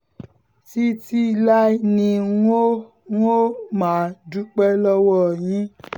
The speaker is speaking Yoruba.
títí láé ni wóò wóò máa dúpẹ́ lọ́wọ́ yín